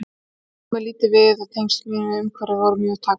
Hátíðin kom mér lítið við og tengsl mín við umhverfið voru mjög takmörkuð.